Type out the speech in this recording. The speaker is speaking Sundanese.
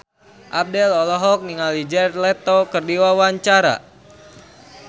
Abdel olohok ningali Jared Leto keur diwawancara